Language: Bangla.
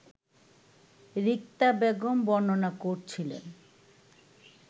রিক্তা বেগম বর্ণনা করছিলেন